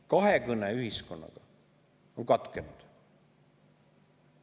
Kahekõne ühiskonnaga on katkenud.